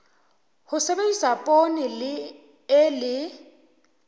ho sebedisa poone e le